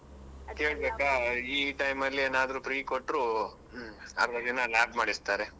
ಈ time ಅಲ್ಲಿ ಏನಾದ್ರೂ free ಕೊಟ್ರು ಹ್ಮ್ ಅರ್ಧ ದಿನ lab ಮಾಡಿಸ್ತಾರೆ.